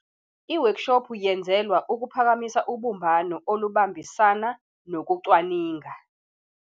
Iwekshophu yenzelwa ukuphakamisa ubumbano olubambisana nokucwaninga